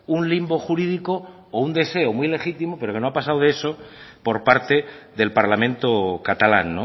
un limbo jurídico o un deseo muy legítimo pero que no ha pasado de eso por parte del parlamento catalán